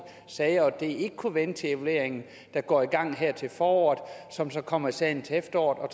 sager og at det ikke kunne vente til evalueringen der går i gang her til foråret og som så kommer i salen til efteråret og